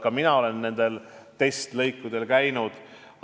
Ka mina olen nendel testlõikudel käinud.